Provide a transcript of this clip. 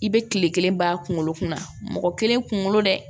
I bɛ kile kelen ban a kunkolo kunna mɔgɔ kelen kungolo dɛ